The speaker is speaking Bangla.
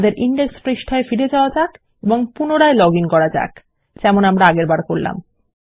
আমাদের ইনডেক্স পৃষ্ঠায় ফিরে যাওয়া যাক এবং পুনরায় লগ আইএন করা যাক যেমন আমরা আগেরবার করলাম